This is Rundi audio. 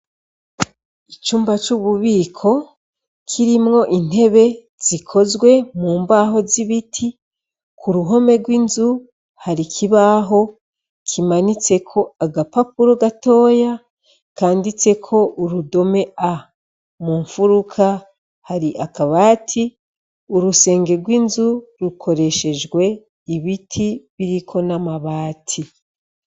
Icumba c'ububiko kirimwo intebe zikozwe mu mbaho z'ibiti, ku ruhome rw'inzu hari kibaho kimanitse ko agapapuro gatoya kanditse ko urudome a, mumfuruka hari akabati urusenge rw'inzu rukoreshejwe ibiti biriko n'amabati.